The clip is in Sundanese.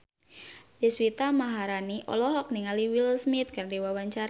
Deswita Maharani olohok ningali Will Smith keur diwawancara